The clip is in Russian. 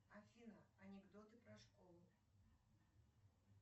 афина анекдоты про школу